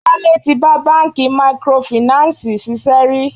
Wálé tí bá bánkì microfinancii ṣiṣẹ́ rí.